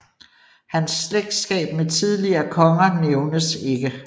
Hans slægtskab med tidligere konger nævnes ikke